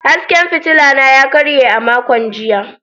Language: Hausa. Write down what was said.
Hasken fitila na ya karye a makon jiya.